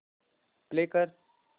play कर